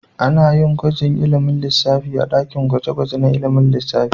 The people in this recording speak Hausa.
Ana yin gwajin ilimin lissafi a dakin gwaje-gwaje na ilimin lissafi.